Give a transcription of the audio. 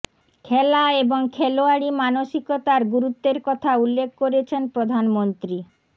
খেলা এবং খেলোয়াড়ী মানসিকতার গুরুত্বের কথা উল্লেখ করেছেন প্রধানমন্ত্রী